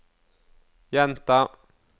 gjenta